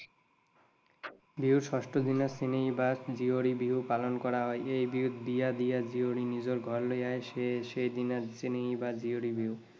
বিহুৰ ষষ্ঠ দিনত চেনেহী বা জীয়ৰী বিহু পালন কৰা হয়। এই বিহুত বিয়া দিয়া জীয়ৰীয়ে নিজৰ ঘৰলৈ আহে সেইদিনা চেনেহী বা জীয়ৰী বিহু